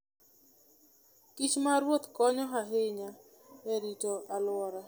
kich ma ruoth konyo ahinya e rito alwora.